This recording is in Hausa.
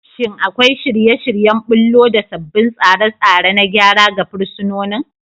Shin akwai shirye-shiryen ɓullo da sabbin tsare-tsare na gyara ga fursunonin?